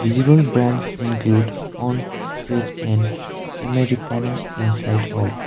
visible brands include onn stretch and americana inside out.